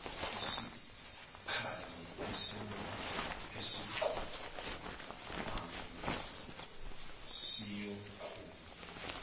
isikali esinqumayo siyonqunywa